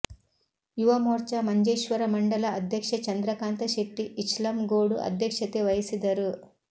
ಯುವ ಮೋರ್ಚಾ ಮಂಜೇಶ್ವರ ಮಂಡಲ ಅಧ್ಯಕ್ಷ ಚಂದ್ರಕಾಂತ ಶೆಟ್ಟಿ ಇಚ್ಲಂಗೋಡು ಅಧ್ಯಕ್ಷತೆ ವಹಿಸಿದರು